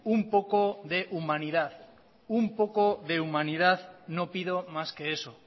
un poco de humanidad un poco de humanidad no pido más que eso